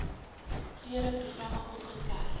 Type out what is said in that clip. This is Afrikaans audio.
gude programme opgeskerp